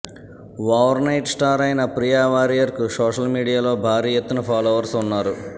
over night star అయిన ప్రియా వారియర్కు social మీడియాలో భారీ ఎత్తున ఫాలోవర్స్ ఉన్నారు